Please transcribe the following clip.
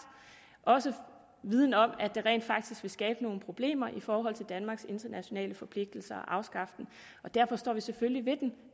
også viden om at det rent faktisk vil skabe nogle problemer i forhold til danmarks internationale forpligtelser at afskaffe den derfor står vi selvfølgelig ved den